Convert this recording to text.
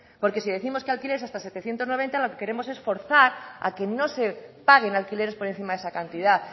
porque si décimos que alquileres hasta setecientos noventa lo que queremos es forzar a que no se paguen alquileres por encima de esa cantidad